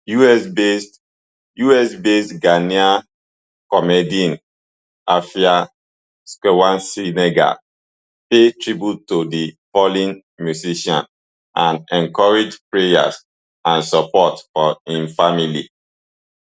usbased usbased ghanaian comedienne afia schwarzenegger pay tribute to di fallen musician and encourage prayers and support for im family